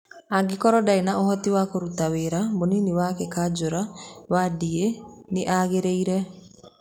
angĩakoro ndarĩ na ũhoti wa kũrũta wĩra, mũnini wake kajũra Wandie nĩ angĩaingĩrĩra.